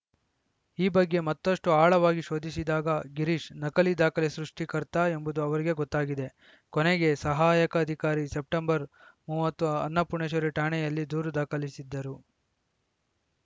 ಈ ಬಗ್ಗೆ ಮತ್ತಷ್ಟು ಆಳವಾಗಿ ಶೋಧಿಸಿದಾಗ ಗಿರೀಶ್‌ ನಕಲಿ ದಾಖಲೆ ಸೃಷ್ಟಿಕರ್ತ ಎಂಬುದು ಅವರಿಗೆ ಗೊತ್ತಾಗಿದೆ ಕೊನೆಗೆ ಸಹಾಯಕ ಅಧಿಕಾರಿ ಸೆಪ್ಟೆಂಬರ್ ಮೂವತ್ತು ಅನ್ನಪೂರ್ಣೇಶ್ವರಿ ಠಾಣೆಯಲ್ಲಿ ದೂರು ದಾಖಲಿಸಿದ್ದರು